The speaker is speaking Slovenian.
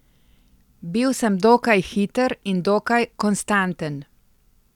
Bil sem dokaj hiter in dokaj konstanten.